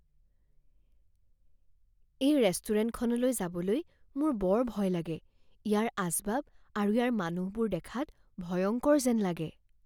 এই ৰেষ্টুৰেণ্টখনলৈ যাবলৈ মোৰ বৰ ভয় লাগে। ইয়াৰ আচবাব আৰু ইয়াৰ মানুহবোৰ দেখাত ভয়ংকৰ যেন লাগে।